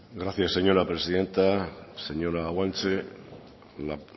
gracias señora presidenta señora guanche la